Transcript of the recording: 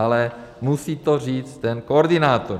Ale musí to říct ten koordinátor.